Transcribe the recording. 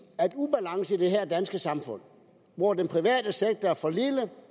i at her danske samfund hvor den private sektor er for lille